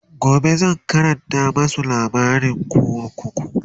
gobe zan Karanta masu labarin kunkuru